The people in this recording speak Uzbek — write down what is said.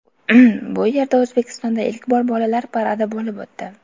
Bu yerda O‘zbekistonda ilk bor bolalar paradi bo‘lib o‘tdi.